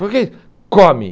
por que, come.